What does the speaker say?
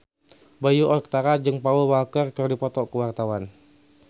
Bayu Octara jeung Paul Walker keur dipoto ku wartawan